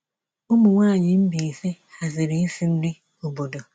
Ụmụnwaanyị Mbaise haziri isi nri obodo.